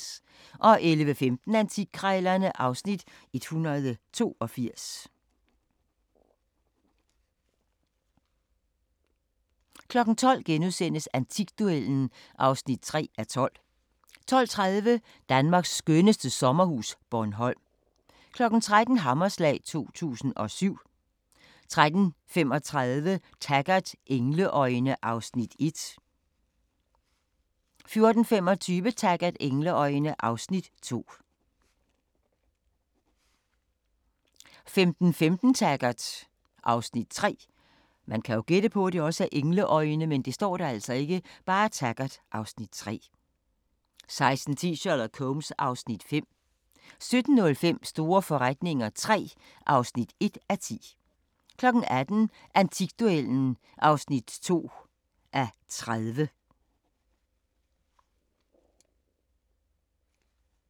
11:15: Antikkrejlerne (Afs. 182) 12:00: Antikduellen (3:12)* 12:30: Danmarks skønneste sommerhus – Bornholm 13:00: Hammerslag 2007 13:35: Taggart: Engleøjne (Afs. 1) 14:25: Taggart: Engleøjne (Afs. 2) 15:15: Taggart (Afs. 3) 16:10: Sherlock Holmes (Afs. 5) 17:05: Store forretninger III (1:10) 18:00: Antikduellen (2:30)